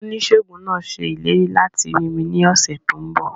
Oníṣèègùn náà ṣe ìlérí láti rí mi ní ọ̀sẹ̀ tó n bọ̀